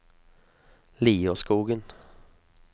Lierskogen